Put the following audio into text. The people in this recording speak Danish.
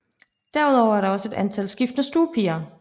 Derudover er der også et antal skiftende stuepiger